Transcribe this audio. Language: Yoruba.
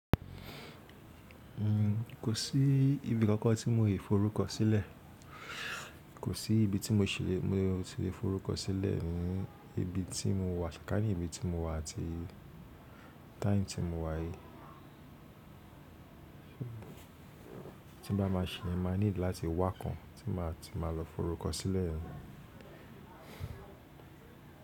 Kò sí ibi kankan tí mo lè forúkọ sílẹ̀. Kò sí ibi tí mo ti lè forúkọ sílẹ̀ ní ibi tí mo wà, kà ní ibi tí mo wà àti time tí mo wà yìí. Tí n bá máa ṣẹ́yen, máa need láti wá kan tí máa ti máa lọ forúkọ sílẹ̀.